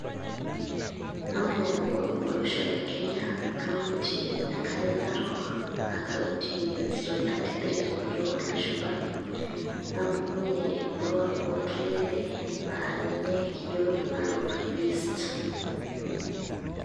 Amanya nanu olosho lenkare narok aaa county 033 tenkut oolashumba napukunyie emuru oo ntulele aa ninye kijo narok east